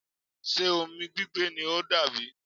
Ṣe omi gbigbe ni o n dà bi?